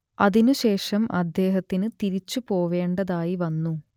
അതിനുശേഷം അദ്ദേഹത്തിന് തിരിച്ചു പോവേണ്ടതായി വന്നു